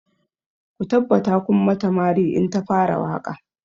Ku tabbata kun mata mari in ta fara waƙa!